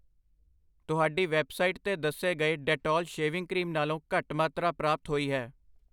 ਤੁਹਾਡੀ ਵੈੱਬਸਾਈਟ 'ਤੇ ਦੱਸੇ ਗਏ ਡੈਟੋਲ ਸ਼ੇਵਿੰਗ ਕਰੀਮ ਨਾਲੋਂ ਘੱਟ ਮਾਤਰਾ ਪ੍ਰਾਪਤ ਹੋਈ ਹੈ I